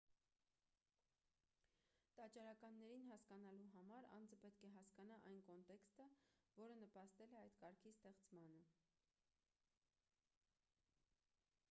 տաճարականներին հասկանալու համար անձը պետք է հասկանա այն կոնտեքստը որը նպաստել է այդ կարգի ստեղծմանը